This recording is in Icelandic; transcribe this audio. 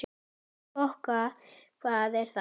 Bokka, hvað er það?